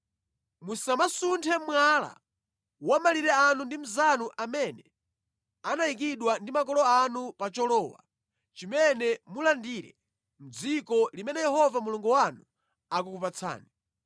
Musamasunthe mwala wa malire anu ndi mnzanu amene anayikidwa ndi makolo anu pa cholowa chimene mulandire mʼdziko limene Yehova Mulungu wanu akukupatsani.